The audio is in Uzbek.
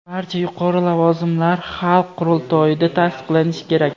Barcha yuqori lavozimlar xalq qurultoyida tasdiqlanishi kerak.